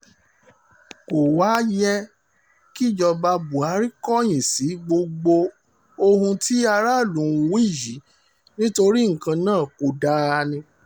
kò wáá yẹ kíjọba buhari kọ̀yìn sí gbogbo ohun tí aráàlú ń wí yìí nítorí nǹkan náà kò dáa ni